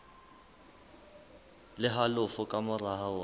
le halofo ka mora hora